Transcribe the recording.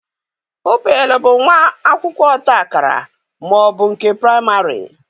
Pụpịl bụ nwa akwụkwọ ọta akara ma ọ bụ nke praịmarị